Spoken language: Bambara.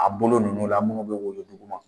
A bolo ninnu la minnu bɛ woyo duguma